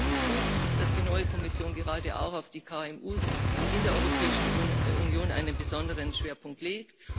Insofern finde ich es gut, dass die neue Kommission gerade auch auf die KMU in der Europäischen Union einen besonderen Schwerpunkt